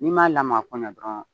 N'i m'a lamaga ko ɲɛ dɔrɔn